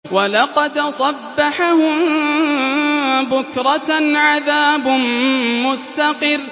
وَلَقَدْ صَبَّحَهُم بُكْرَةً عَذَابٌ مُّسْتَقِرٌّ